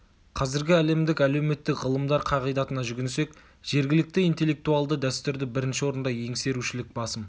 қазіргі әлемдік әлеуметтік ғылымдар қағидатына жүгінсек жергілікті интеллектуалды дәстүрді бірінші орында еңсерушілік басым